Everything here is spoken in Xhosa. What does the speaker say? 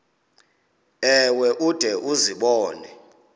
ewe ude uzibone